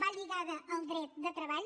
va lligada al dret de treball